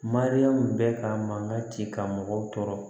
Mariyamu bɛ ka mankan ci ka mɔgɔw tɔɔrɔ